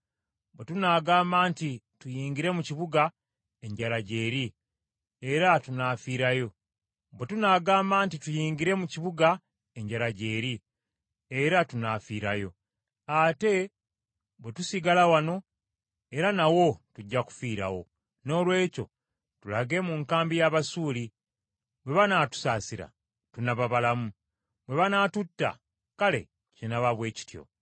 Bwe tunaagamba nti, ‘Tuyingire mu kibuga,’ enjala gy’eri, era tunaafiirayo; ate bwe tusigala wano, era nawo tujja kufiirawo. Noolwekyo tulage mu nkambi y’Abasuuli, bwe banaatusaasira, tunaaba balamu, bwe banaatutta, kale kinaaba bwe kityo.”